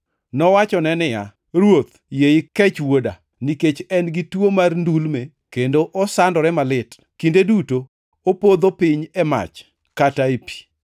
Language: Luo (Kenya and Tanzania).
Nowachone niya, “Ruoth, yie ikech wuoda, nikech en-gi tuo mar ndulme kendo osandore malit. Kinde duto opodho piny e mach kata e pi.